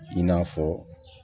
I n'a fɔ